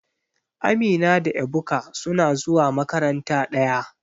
Amina da Ebuka suna zuwa makaranta daya.